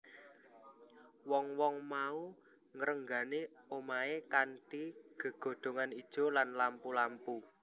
Wong wong mau ngrenggani omahe kanthi gegodhongan ijo lan lampu lampu